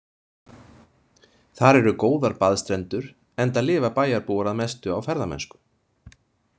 Þar eru góðar baðstrendur, enda lifa bæjarbúar að mestu á ferðamennsku.